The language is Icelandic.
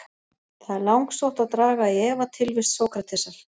Það er langsótt að draga í efa tilvist Sókratesar.